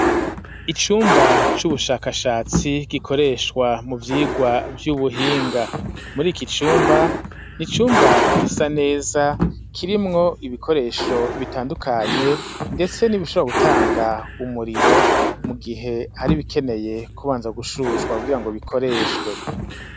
Icumba c'ubushakashatsi gikoreshwa mu vyigwa vy'ubuhinga muri iki cumba, n'icumba gisa neza kirimwo ibikoresho bitandukanye ndetse nibi shobora gutanga umuriro mu gihe hari bikeneye kubanza gushushwa kugirango bikoreshwe.